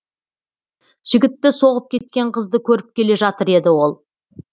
жігітті соғып кеткен қызды көріп келе жатыр еді ол